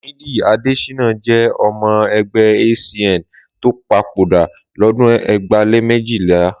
Làmídì Adéṣínà jẹ́ ọmọ ẹgbẹ́ ACN tó papòdà lọ́dún ẹgbàá lé méjìlá.